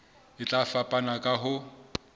e tla fapana ka ho